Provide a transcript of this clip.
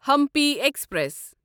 Hampi express